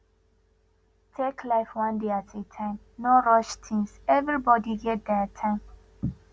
take life one day at a time no rush things everbody get their time